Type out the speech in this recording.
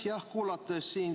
Aitäh!